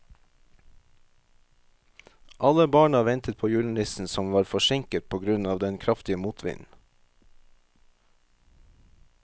Alle barna ventet på julenissen, som var forsinket på grunn av den kraftige motvinden.